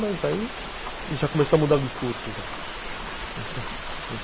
Mas aí, já começou a mudar o discurso, já,